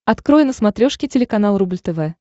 открой на смотрешке телеканал рубль тв